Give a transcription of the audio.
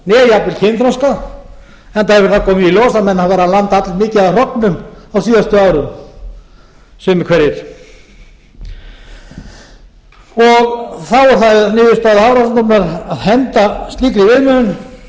jafnvel kynþroska enda hefur það komið í ljós að menn hafa verið að landa allmiklu af hrognum á síðustu árum sumir hverjir þá er það niðurstaða hafrannsóknastofnunar að henda slíkri viðmiðun nota